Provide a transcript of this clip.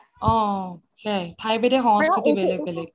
অ সেইয়াই ঠাই বিধে সংস্কৃতি টো বেলেগ বেলেগ হয়